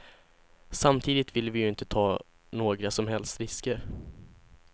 Samtidigt vill vi ju inte ta några som helst risker.